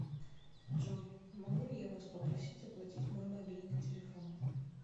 джой могу ли я вас попросить оплатить мой мобильный телефон